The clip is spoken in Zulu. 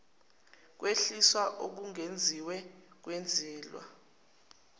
kwehliswa okwengeziwe kwenzelwa